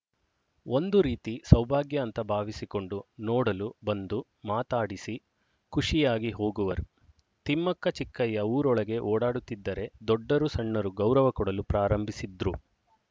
ಒಂದು ರೀತಿ ಸೌಭಾಗ್ಯ ಅಂತ ಭಾವಿಸಿಕೊಂಡು ನೋಡಲು ಬಂದು ಮಾತಾಡಿಸಿ ಖುಷಿಯಾಗಿ ಹೋಗುವರು ತಿಮ್ಮಕ್ಕಚಿಕ್ಕಯ್ಯ ಊರೊಳಗೆ ಓಡಾಡುತ್ತಿದ್ದರೆ ದೊಡ್ಡರುಸಣ್ಣರು ಗೌರವ ಕೊಡಲು ಪ್ರಾರಂಭಿಸಿದ್ರು